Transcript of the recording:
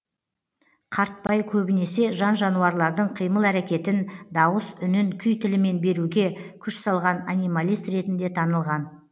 қартбай көбінесе жан жануарлардың қимыл әрекетін дауыс үнін күй тілімен беруге күш салған анималист ретінде танылған